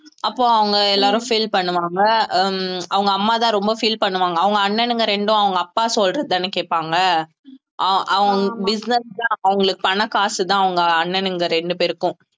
அப்போ அவங்க எல்லாரும் feel பண்ணுவாங்க உம் அவங்க அம்மாதான் ரொம்ப feel பண்ணுவாங்க அவங்க அண்ணனுங்க ரெண்டும் அவங்க அப்பா சொல்றதைதானே கேட்பாங்க அஹ் அவன் business தான் அவங்களுக்கு பணம் காசுதான் அவங்க அண்ணனுங்க ரெண்டு பேருக்கும்